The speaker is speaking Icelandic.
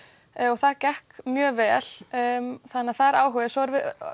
og það gekk mjög vel þannig það er áhugi